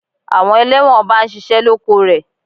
Àwọn elẹ́wọ̀n ọba ń ṣiṣẹ́ lóko rẹ̀.